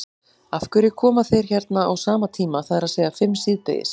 Af hverju koma þeir hérna á sama tíma, það er að segja fimm síðdegis?